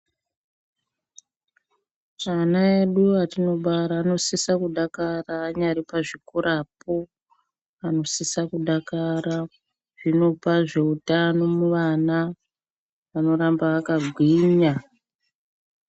Chana edu atino bara anosisa kudakara anyari pa zvikorapo anosisa kudakara zvinopa zve utano mu vana vano ramba vaka gwinya.